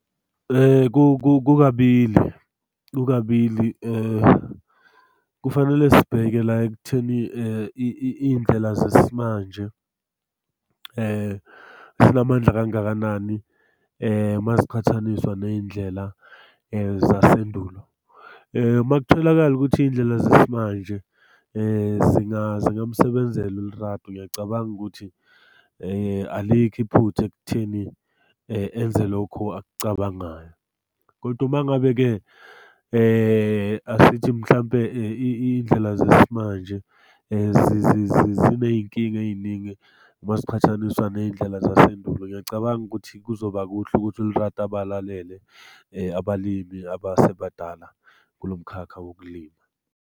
Kukabili kukabili kufanele sibheke la ekutheni iy'ndlela zesimanje zinamandla kangakanani maziqhathaniswa ney'ndlela zasendulo. Uma kutholakala ukuthi iy'ndlela zesimanje zingamsebenzela uLerato. Ngiyacabanga ukuthi alikho iphutha ekutheni enze lokhu akucabangayo, kodwa uma ngabe-ke asithi mhlampe iy'ndlela zesimanje ziney'nkinga ey'ningi maziqhathaniswa ney'ndlela zasendulo. Ngiyacabanga ukuthi kuzoba kuhle ukuthi uLerato abalalele abalimi abasebadala kulo mkhakha wokulima.